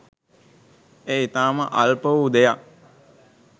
එය ඉතාම අල්ප වූ දෙයක්.